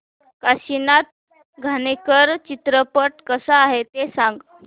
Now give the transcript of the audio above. काशीनाथ घाणेकर चित्रपट कसा आहे ते सांग